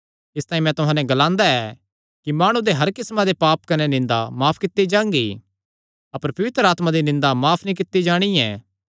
इसतांई मैं तुहां नैं ग्लांदा ऐ कि माणु दे हर किस्मां दे पाप कने निंदा माफ कित्ती जांगी अपर पवित्र आत्मा दी निंदा माफ नीं कित्ती जाणी ऐ